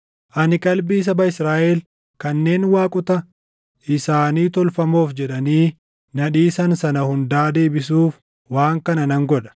Ani qalbii saba Israaʼel kanneen waaqota isaanii tolfamoof jedhanii na dhiisan sana hundaa deebisuuf waan kana nan godha.’